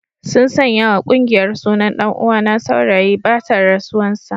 Sun sanya wa kungiyar sunan dan uwana Saurayi batan rasuwan sa.